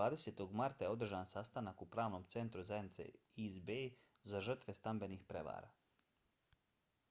20. marta je održan sastanak u pravnom centru zajednice east bay za žrtve stambenih prevara